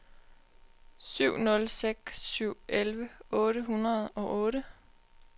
syv nul seks syv elleve otte hundrede og otte